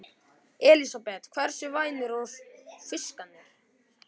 Elísabet: Hversu vænir voru fiskarnir?